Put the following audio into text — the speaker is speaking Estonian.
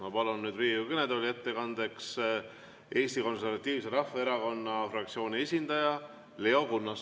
Ma palun nüüd Riigikogu kõnetooli ettekandeks Eesti Konservatiivse Rahvaerakonna fraktsiooni esindaja Leo Kunnase.